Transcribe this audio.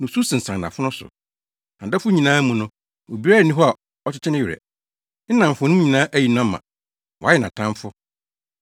Osu yayaayaw anadwo, nusu sensan nʼafono so. Nʼadɔfo nyinaa mu no, obiara nni hɔ a ɔkyekyee ne werɛ. Ne nnamfonom nyinaa ayi no ama Wɔayɛ nʼatamfo.